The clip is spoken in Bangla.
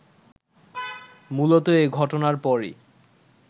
মূলত এ ঘটনার পরই